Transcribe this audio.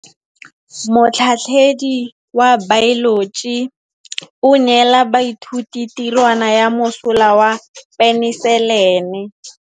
Motlhatlhaledi wa baeloji o neela baithuti tirwana ya mosola wa peniselene.